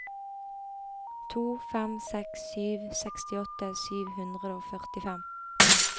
to fem seks sju sekstiåtte sju hundre og førtifem